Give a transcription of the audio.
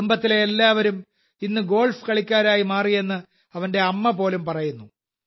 കുടുംബത്തിലെ എല്ലാവരും ഇന്ന് ഗോൾഫ് കളിക്കാരായി മാറിയെന്ന് അവന്റെ അമ്മപോലും പറയുന്നു